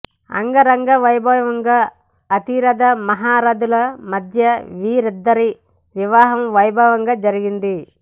అంగరంగ వైభవంగా అతిరథ మహారథుల మధ్య వీరిద్దరి వివాహం వైభవంగా జరిగింది